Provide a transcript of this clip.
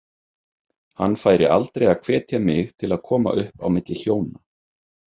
Hann færi aldrei að hvetja mig til að koma upp á milli hjóna.